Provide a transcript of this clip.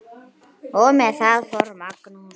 Og með það fór Magnús.